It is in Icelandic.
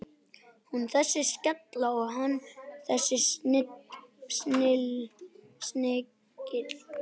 Hún þessi skella og hann þessi snigill.